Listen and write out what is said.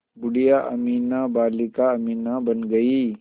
बूढ़िया अमीना बालिका अमीना बन गईं